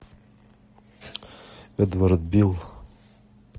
эдвард бил